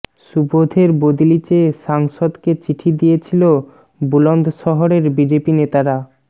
সুবোধের বদলি চেয়ে সাংসদকে চিঠি দিয়েছিল বুলন্দশহরের বিজেপি নেতারা